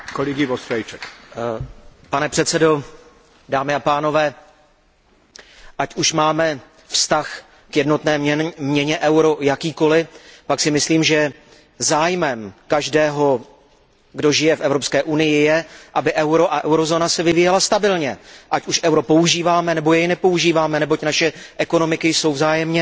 Pane předsedající, ať už máme vztah k jednotné měně euro jakýkoliv, tak si myslím, že zájmem každého, kdo žije v Evropské unii, je, aby se euro a eurozóna vyvíjely stabilně, ať už euro používáme nebo jej nepoužíváme, neboť naše ekonomiky jsou vzájemně velmi silně provázány.